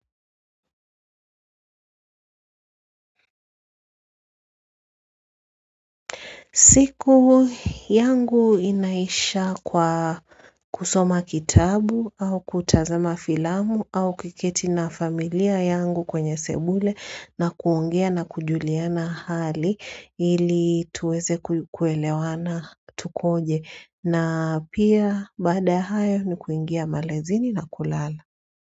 Siku yangu inaisha kwa kusoma kitabu au kutazama filamu au kuketi na familia yangu kwenye sebule na kuongea na kujuliana hali ili tuweze kuelewana tukoje na pia baada hayo ni kuingia malazini na kulala.